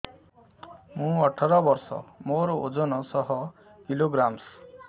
ମୁଁ ଅଠର ବର୍ଷ ମୋର ଓଜନ ଶହ କିଲୋଗ୍ରାମସ